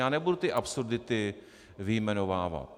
Já nebudu ty absurdity vyjmenovávat.